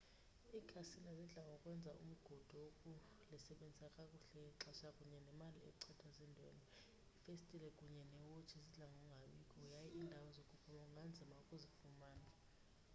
ikhasino zidla ngokwenza umgudu wokulisebenzisa kakuhle ixesha kunye nemali echithwa ziindwendwe iifestile kunye neewotshi zidla ngokungabikho yaye iindawo zokuphuma kunganzima ukuzifumana